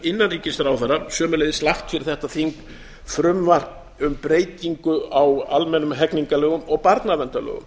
innanríkisráðherra sömuleiðis lagt fyrir þetta þing frumvarp um breytingu á almennum hegningarlögum og barnaverndarlögum